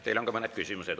Teile on ka mõned küsimused.